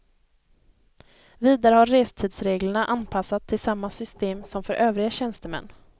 Vidare har restidsreglerna anpassats till samma system som för övriga tjänstemän.